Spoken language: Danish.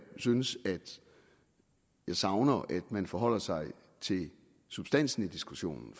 synes at jeg savner at man forholder sig til substansen i diskussionen